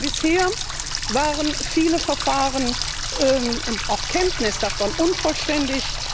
Denn bisher waren viele Verfahren und auch die Kenntnis davon unvollständig.